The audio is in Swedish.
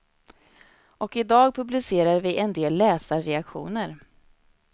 Och i dag publicerar vi en del läsarreaktioner.